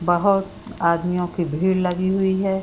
बोहत आदमियों की भीड़ लगी हुई है |